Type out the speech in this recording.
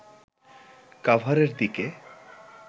কাভারের দিকে